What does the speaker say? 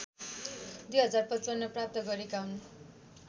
२०५५ प्राप्त गरेका हुन्